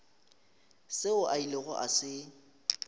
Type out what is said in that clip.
seo a ilego a se